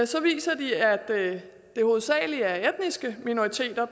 så viser de at det hovedsagelig er etniske minoriteter